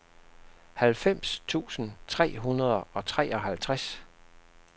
halvfems tusind tre hundrede og treoghalvtreds